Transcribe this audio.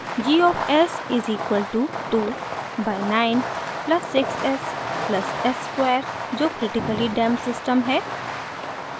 g of s is equal to 2 by 9 plus 6 s plus s square जो critically damped system है